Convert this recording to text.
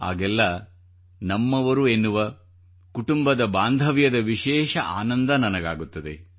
ಆಗೆಲ್ಲಾ ನಮ್ಮವರೆನ್ನುವ ಕುಟುಂಬದ ಬಾಂಧವ್ಯದ ವಿಶೇಷ ಆನಂದ ನನಗಾಗುತ್ತದೆ